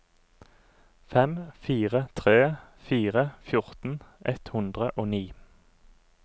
fem fire tre fire fjorten ett hundre og ni